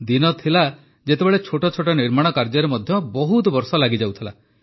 ଦିନ ଥିଲା ଯେତେବେଳେ ଛୋଟ ଛୋଟ ନିର୍ମାଣ କାର୍ଯ୍ୟରେ ମଧ୍ୟ ବହୁତ ବର୍ଷ ଲାଗିଯାଉଥିଲା